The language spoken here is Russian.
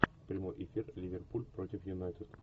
прямой эфир ливерпуль против юнайтед